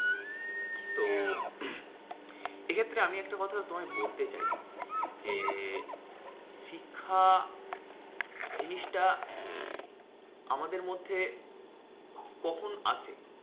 এক্ষেত্রে আমি একটা কথা তোমায় বলতে চাই, যে শিক্ষা জিনিসটা আমাদের মধ্যে কখন আসে?